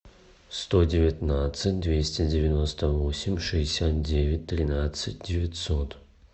сто девятнадцать двести девяносто восемь шестьдесят девять тринадцать девятьсот